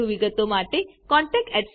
વધુ વિગતો માટે contactspoken tutorialorg પર લખો